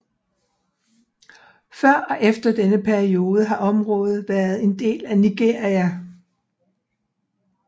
Før og efter denne periode har området været en del af Nigeria